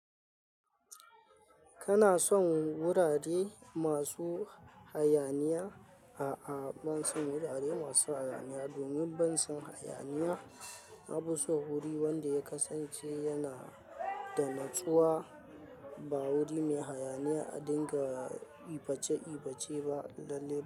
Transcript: Kana son wurare masu hayaniya? A'a, ban son wurare masu hayaniya domin ban son hayaniya. Na fi so wuri wanda ya kasance yana da natsuwa, ba wuri mai hayaniya a dinga iface iface ba.